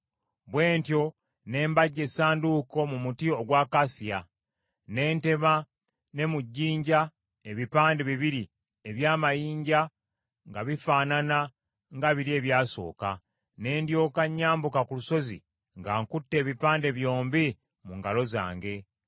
Bwe ntyo ne mbajja Essanduuko mu muti ogw’akasiya, ne ntema ne mu jjinja ebipande bibiri eby’amayinja nga bifaanana nga biri ebyasooka, ne ndyoka nyambuka ku lusozi nga nkutte ebipande byombi mu ngalo zange.